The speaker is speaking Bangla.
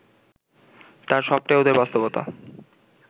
তার সবটাই ওদের বাস্তবতা